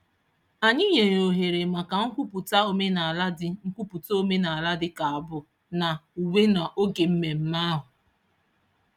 Anyị nyere ohere maka nkwupụta omenaala dị nkwupụta omenaala dị ka abụ na uwe n'oge mmemme ahụ.